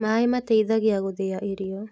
Maaĩ mateithagia gũthĩa irio